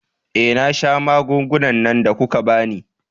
Eh, na sha magungunan da kuka ba ni.